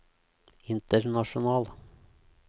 international